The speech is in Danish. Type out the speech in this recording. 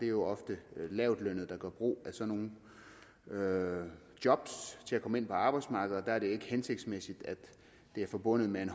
jo ofte lavtlønnede der gør brug af sådan nogle job til at komme ind på arbejdsmarkedet og der er det ikke hensigtsmæssigt at det er forbundet med en